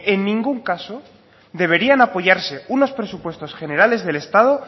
en ningún caso deberían apoyarse unos presupuestos generales del estado